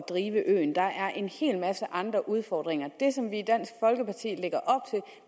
drive øen der er en hel masse andre udfordringer og